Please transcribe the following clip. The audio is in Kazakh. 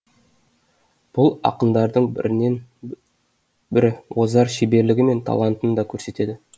бұл ақындардың бірінен бірі озар шеберлігі мен талантын да көрсетеді